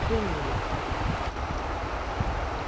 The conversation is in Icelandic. Kringlu